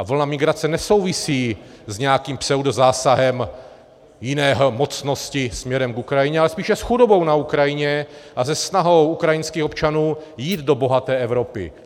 A vlna migrace nesouvisí s nějakým pseudozásahem jiné mocnosti směrem k Ukrajině, ale spíše s chudobou na Ukrajině a se snahou ukrajinských občanů jít do bohaté Evropy.